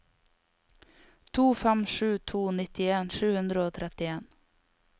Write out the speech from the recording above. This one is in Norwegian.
to fem sju to nittien sju hundre og trettien